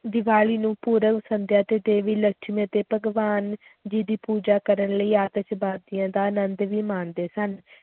ਦੀਵਾਲੀ ਨੂੰ ਪੂਰਬ ਸੰਧਿਆ ਤੇ ਦੇਵੀ ਲਕਸ਼ਮੀ ਅਤੇ ਭਗਵਾਨ ਜੀ ਦੀ ਪੂਜਾ ਕਰਨ ਲਈ ਆਤਿਸ਼ਬਾਜ਼ੀਆਂ ਦਾ ਆਨੰਦ ਵੀ ਮਾਣਦੇ ਸਨ,